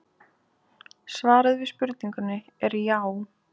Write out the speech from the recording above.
Svarið við spurningunni er já.